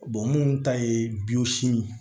munnu ta ye biyo simi ye